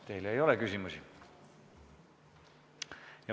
Teile ei ole küsimusi.